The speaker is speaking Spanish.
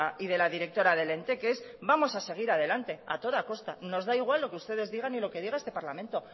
y de la directora del ente que es vamos a seguir adelante a toda costa nos da igual lo que ustedes digan y lo que diga este parlamento